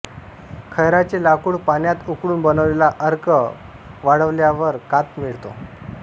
खैराचे लाकूड पाण्यात उकळून बनवलेला अर्क वाळवल्यावर काथ मिळतो